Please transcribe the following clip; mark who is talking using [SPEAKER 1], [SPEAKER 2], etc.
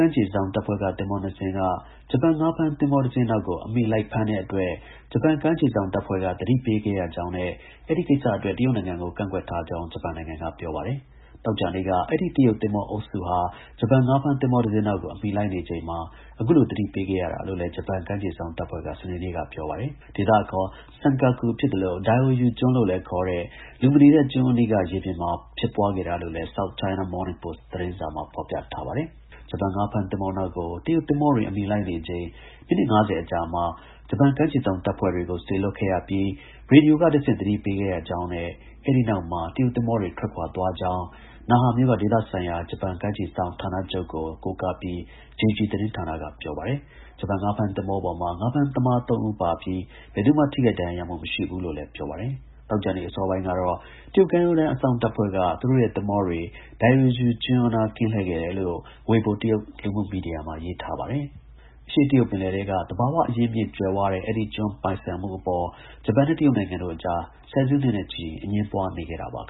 [SPEAKER 1] မ်းခြေစောင့်တပ်ဖွဲ့က သင်္ဘော ၂ စင်းက ဂျပန် ငါးဖမ်းသင်္ဘောတစင်းနောက်ကို အမီလိုက်ဖမ်းတဲ့အတွက် ဂျပန် ကမ်းခြေစောင့်တပ်ဖွဲ့က သတိပေးခဲ့ရကြောင်းနဲ့ အဲဒီကိစ္စအတွက် တရုတ်နိုင်ငံကို ကန့်ကွက်ထားကြောင်း ဂျပန်နိုင်ငံက ပြောပါတယ်။ သောကြာနေ့က အဲဒီ တရုတ်သင်္ဘောအုပ်စုဟာ ဂျပန် ငါးဖမ်းသင်္ဘော တစင်းနောက်ကို အမီလိုက်နေချိန်မှာ အခုလို သတိပေးခဲ့ရတာလို့လည်း ဂျပန်ကမ်းခြေစောင့်တပ်ဖွဲ့က စနေနေ့က ပြောပါတယ်။ ဒေသအခေါ် SENKAKU ဖြစ်သလို DIAOYU ကျွန်းလို့လည်း ခေါ်တဲ့ လူမနေတဲ့ ကျွန်းအနီးက ရေပြင်မှာ ဖြစ်ပွားခဲ့တာလို့လည်း SOUTH CHINA MORNING POST သတင်းစာမှာ ဖော်ပြထားပါတယ်။ ဂျပန်ငါးဖမ်းသင်္ဘောနောက်ကို တရုတ်သင်္ဘောတွေ အမီလိုက်နေချိန် မိနစ် ၅၀ အကြာမှာ ဂျပန် ကမ်းခြေစောင့်တပ်ဖွဲ့တွေကို စေလွှတ်ပြီး ရေဒီယိုကတဆင့် သတိပေးခဲ့ရကြောင်းနဲ့ အဲ့ဒီနောက်မှာ တရုတ်သင်္ဘောတွေ ထွက်ခွာသွားခဲ့ကြောင်း NAHA မြို့က ဒေသဆိုင်ရာ ဂျပန်ကမ်းခြေစောင့် ဌာနချုပ်ကို ကိုးကားပြီး JIJI သတင်းဌာနက ပြောပါတယ်။ ဂျပန်ငါးဖမ်းသင်္ဘာပေါ်မှာ ငါးဖမ်းသမား ၃ ဦးပါပြီး ဘယ်သူမှ ထိခိုက်ဒဏ်ရာရမှု မရှိဘူးလို့လည်း ပြောပါတယ်။ သောကြာနေ့ အစောပိုင်းကတော့ တရုတ် ကမ်းရိုးတန်းအစောင့်တပ်ဖွဲ့က သူတို့ရဲ့ သင်္ဘောတွေ DIAOYU ကျွန်းအနား ကင်းလှည့်ခဲ့တယ်လို့ WEIBO တရုတ် လူမှုမီဒီယာမှာ ရေးထားခဲ့ပါတယ်။ တရုတ်အရှေ့ပင်လယ်ထဲက လူသူမနေပေမယ့် သဘာဝအရင်းအမြစ် ကြွယ်ဝတဲ့ အဲဒီကျွန်း ပိုင်ဆိုင်မှုအပေါ် ဂျပန်နဲ့ တရုတ်နိုင်ငံတို့အကြား ဆယ်စုနှစ်နဲ့ချီ အငြင်းပွားနေခဲ့တာပါ။